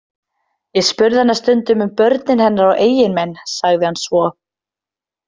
Ég spurði hana stundum um börnin hennar og eiginmenn, sagði hann svo.